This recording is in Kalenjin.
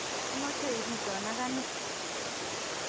ameche ibidto ane